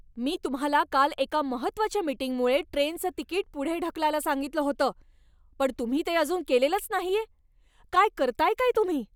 मी तुम्हाला काल एका महत्त्वाच्या मिटींगमुळे ट्रेनचं तिकीट पुढे ढकलायला सांगितलं होतं, पण तुम्ही ते अजून केलेलंच नाहीये, काय करताय काय तुम्ही?